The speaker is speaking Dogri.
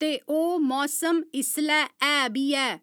ते ओह् मौसम इसलै है बी ऐ।